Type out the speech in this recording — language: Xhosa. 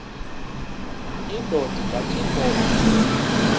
indod ingaty iinkobe